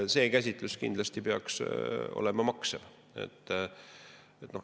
See käsitus kindlasti peaks olema maksev.